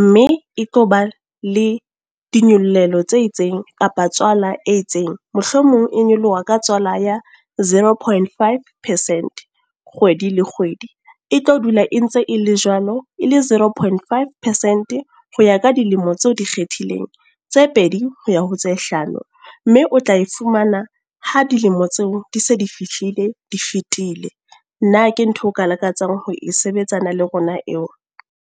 Mme e tlo ba le dinyollelo tse itseng, kapa tswala e itseng. Mohlomong e nyoloha ka tswala ya zero point five percent, kgwedi le kgwedi. E tlo dula e ntse e le jwalo, e le zero point five percent. Ho ya ka dilemo tseo dikgethileng tse pedi ho ya ho tse hlano. Mme o tla e fumana ha dilemo tseo di se di fihlile di fitile. Na ke ntho eo o ka lakatsang ho e sebetsana le rona eo?